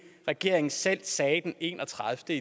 regeringen selv sagde den enogtredivete